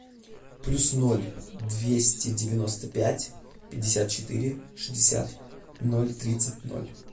плюс ноль двести девяносто пять пятьдесят четыре шестьдесят ноль тридцать ноль